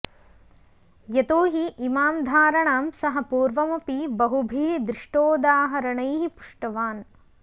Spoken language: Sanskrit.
यतोहि इमां धारणां सः पूर्वमपि बहुभिः दृष्टोदाहरणैः पुष्ट्वान्